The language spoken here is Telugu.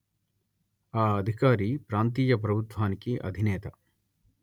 ఆ అధికారి ప్రాంతీయ ప్రభుత్వానికి అధినేత